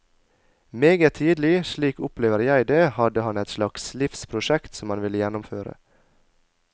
Meget tidlig, slik opplever jeg det, hadde han et slags livsprosjekt som han ville gjennomføre.